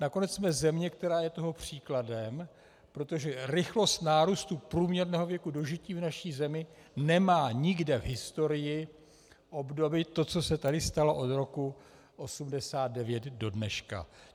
Nakonec jsme země, která je toho příkladem, protože rychlost nárůstu průměrného věku dožití v naší zemi nemá nikde v historii obdoby, to, co se tady stalo od roku 1989 do dneška.